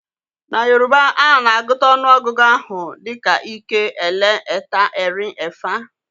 Na Yoruba, a na-agụta ọnụọgụgụ ahụ dị ka ike, ẹlẹ, ẹta, erin, ẹfa,